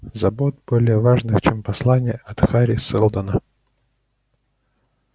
забот более важных чем послание от хари сэлдона